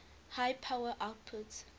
high power outputs